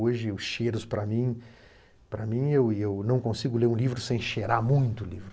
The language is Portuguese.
Hoje, os cheiros para mim... Para mim, eu e eu não consigo ler um livro sem cheirar muito o livro.